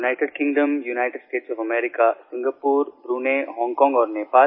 United Kingdom United States of America Singapore Brunei Hong Kong और Nepal